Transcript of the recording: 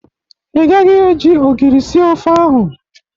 Ị gaghi e ji ogiri sie ofe ahụ!